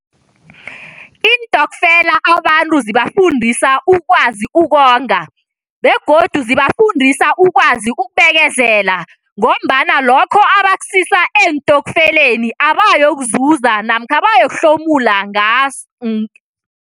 Iintokfela abantu zibafundisa ukwazi ukonga begodu zibafundisa ukwazi ukubekezela ngombana lokho abakusisa eentokfeleni abayokuzuza namkha abayokuhlomula